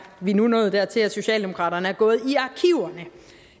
vi nu nået dertil at socialdemokraterne er gået